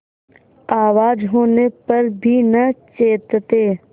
आवाज होने पर भी न चेतते